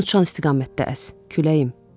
Mən uçan istiqamətdə əs, küləyim.